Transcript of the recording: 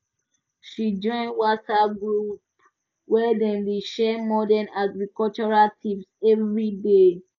she join whatsapp group wey dem dey share modern agricultural tips every day